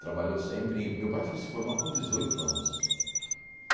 Trabalhou sempre em... Meu pai foi se formar com dezoito anos.